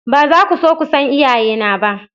Ba za ku so ku san iyayena ba.